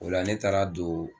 O la ne taara don